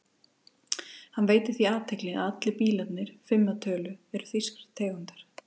Hann veitir því athygli að allir bílarnir, fimm að tölu, eru þýskrar tegundar.